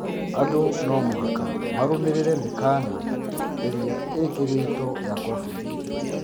Andũ no mũhaka marũmĩrĩre mĩkana ĩria ĩkĩrĩtwo ya kovid